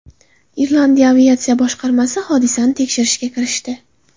Irlandiya aviatsiya boshqarmasi hodisani tekshirishga kirishdi.